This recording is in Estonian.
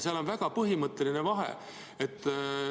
Seal on põhimõtteline vahe.